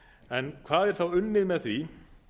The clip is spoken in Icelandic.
en hvað er þá unnið með því